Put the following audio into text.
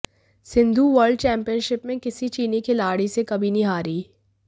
Sindhu world championship में किसी चीनी खिलाड़ी से कभी नहीं हारीं